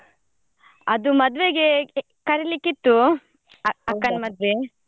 ಅದು ಮದ್ವೆಗೆ ಕರಿಲಿಕ್ಕೆ ಇತ್ತು ಅ~ ಅಕ್ಕನ್ ಮದ್ವೆ.